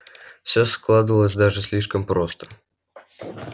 всё складывалось даже слишком просто